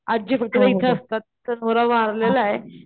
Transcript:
आज्जी फक्त हिट असतात त्यांचा नवरा वारलेलाय,